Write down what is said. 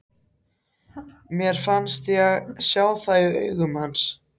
Mér fannst ég sjá það í augum hans.